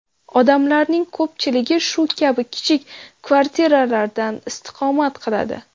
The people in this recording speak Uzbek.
Odamlarning ko‘pchiligi shu kabi kichik kvartiralardan istiqomat qiladi.